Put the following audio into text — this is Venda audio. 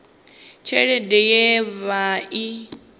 tshelede ye ya vha i